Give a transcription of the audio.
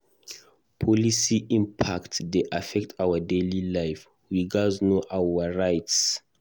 Policy impacts dey affect our daily life; we gatz know our rights.